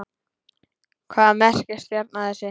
Hvað merkir stjarna þessi?